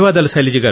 ధన్యవాదాలు